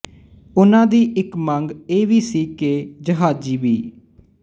ਉਹਨਾਂ ਦੀ ਇੱਕ ਮੰਗ ਇਹ ਵੀ ਸੀ ਕਿ ਜਹਾਜ਼ੀ ਬੀ